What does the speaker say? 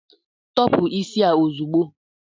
Tọpu isi a ozugbo!